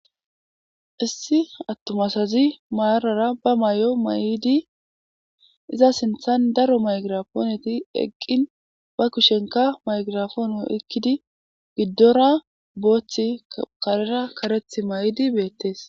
Issi attoma asazi maarara ba may7o may7idi iza sinthan daro maygirapooneti eqqin ba kushenka maygirafoono ekkidi giddora booththi karera kareth may7idi beettees.